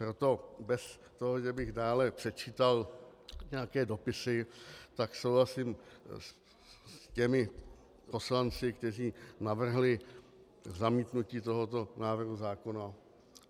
Proto bez toho, že bych dále předčítal nějaké dopisy, tak souhlasím s těmi poslanci, kteří navrhli zamítnutí tohoto návrhu zákona.